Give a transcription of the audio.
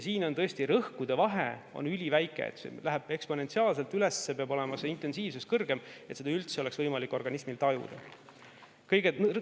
Siin on tõesti rõhkude vahe üliväike, see läheb eksponentsiaalselt üles, see intensiivsus peab olema kõrgem, et seda oleks organismil üldse võimalik tajuda.